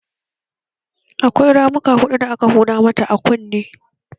Akwai ramuka hudu da aka huda mata a kunne